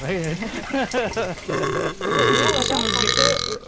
сосын сен қашан өзгерттің